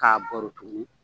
Ka baro tuguni